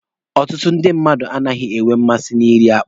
Ọtụtụ ndị mmadụ anaghị enwe mmasị na iri akpụ.